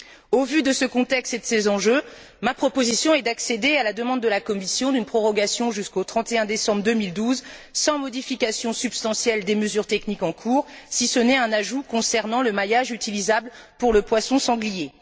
Au vu de ce contexte et de ces enjeux, ma proposition est d'accéder à la demande de la Commission d'une prorogation jusqu'au 31 décembre 2012, sans modification substantielle des mesures techniques en cours, si ce n'est un ajout concernant le maillage utilisable pour le poisson sanglier.